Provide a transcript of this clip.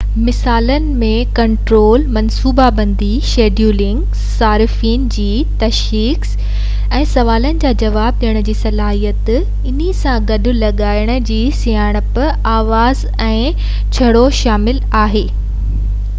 مثالن ۾ ڪنٽرول منصوبه بندي ۽ شيڊولنگ صارفين جي تشخيص ۽ سوالن جا جواب ڏيڻ جي صلاحيت ۽ انهي سان گڏ هٿ لکائي جي سڃاڻپ آواز ۽ چهرو شامل آهن